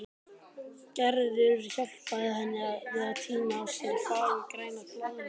Gerður hjálpaði henni við að tína af sér fagurgrænar blaðlýs.